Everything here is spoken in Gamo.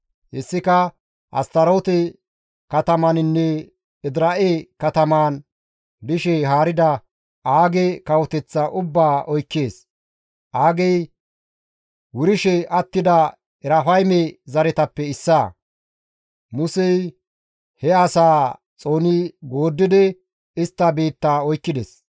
Hessika Astaroote katamaninne Edira7e katamaan dishe haarida Aage kawoteththaa ubbaa oykkees; Aagey wurshe attida Erafayme zaretappe issaa. Musey he asaa xooni gooddidi istta biittaa oykkides.